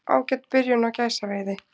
Ágæt byrjun á gæsaveiði